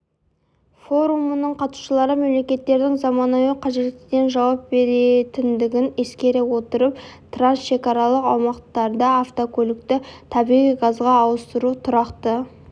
форумның қатысушылары мемлекеттердің заманауи қажеттіліктеріне жауап беретіндігін ескере отырып трансшекаралық аумақтарда автокөлікті табиғи газға ауыстыру тұрақты